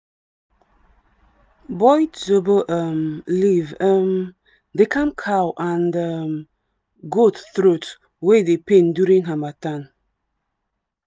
boiled zobo um leaf um dey calm cow and um goat throat wey dey pain during harmattan.